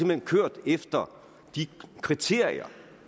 hen kørt efter de kriterier